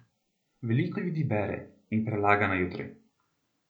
Veliko ljudi bere in prelaga na jutri.